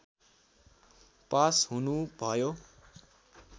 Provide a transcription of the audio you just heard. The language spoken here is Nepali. पास हुनुभयो